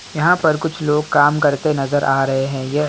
यहाँ पर कुछ लोग काम करते नजर आ रहे हैं यह --